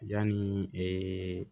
Yanni ee